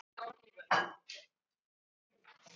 sagan upp á hvern mann